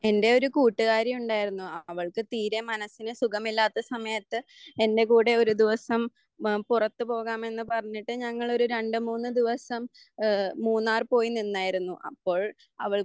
എൻ്റെ ഒരു കൂട്ടുകാരി ഉണ്ടായിരുന്നു അവൾക്ക് തീരെ മനസ്സിന് സുഖമില്ലാത്ത സമയത്ത് എൻ്റെ കൂടെ ഒരു ദിവസം പുറത്ത് പോകാമെന്ന് പറഞ്ഞിട്ട് ഞങ്ങൾ ഒരു രണ്ട് മൂന്ന് ദിവസം ഏഹ് മൂന്നാർ പോയി നിന്നായിരുന്നു അപ്പോൾ അവൾക്ക്